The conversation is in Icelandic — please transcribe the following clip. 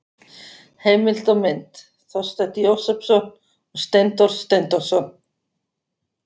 Heimild og mynd: Þorsteinn Jósepsson og Steindór Steindórsson.